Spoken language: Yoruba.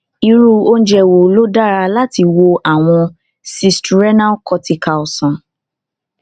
irú oúnjẹ wo ló dára láti wo àwọn cysts renal cortical sàn